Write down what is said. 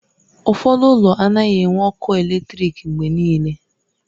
Ụfọdụ ụlọ anaghị enwe ọkụ eletrik mgbe niile